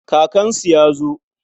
Kakansu ya zo.